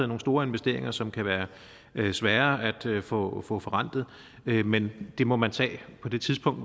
nogle store investeringer som kan være svære at få få forrentet men men det må man tage på det tidspunkt